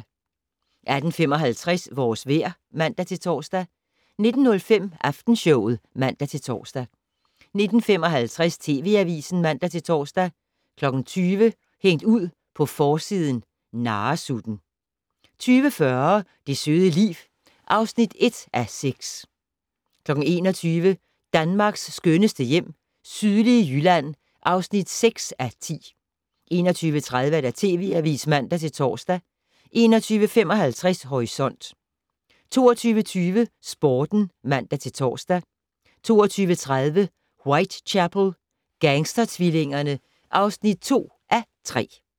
18:55: Vores vejr (man-tor) 19:05: Aftenshowet (man-tor) 19:55: TV Avisen (man-tor) 20:00: Hængt ud på forsiden - narresutten 20:40: Det søde liv (1:6) 21:00: Danmarks skønneste hjem - sydlige Jylland (6:10) 21:30: TV Avisen (man-tor) 21:55: Horisont 22:20: Sporten (man-tor) 22:30: Whitechapel: Gangstertvillingerne (2:3)